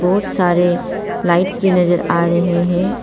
बहुत सारे लाइट्स भी नजर आ रहे हैं।